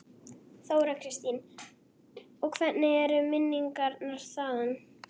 Þóra Kristín: Og hvernig eru minningarnar þaðan?